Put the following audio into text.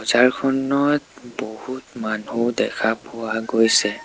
জাৰখনত বহুত মানুহ দেখা পোৱা গৈছে।